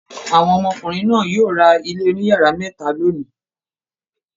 Àwọn ọmọkùnrin náà yóò ra ilé oníyàrá mẹ́ta lónìí.